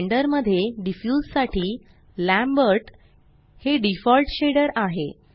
blender मध्ये diffuse साठी Lambert हे डिफॉल्ट शेडर आहे